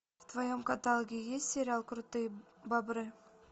в твоем каталоге есть сериал крутые бобры